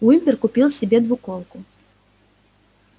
уимпер купил себе двуколку